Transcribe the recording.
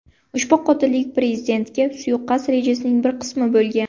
Ushbu qotillik prezidentga suiqasd rejasining bir qismi bo‘lgan.